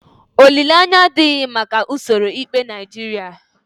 Olileanya adịghị maka usoro ikpe Naijiria.